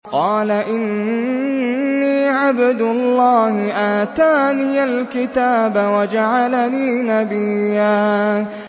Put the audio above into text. قَالَ إِنِّي عَبْدُ اللَّهِ آتَانِيَ الْكِتَابَ وَجَعَلَنِي نَبِيًّا